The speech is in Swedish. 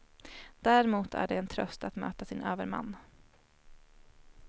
Däremot är det en tröst att möta sin överman.